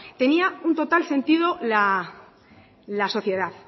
tenía un total sentido la sociedad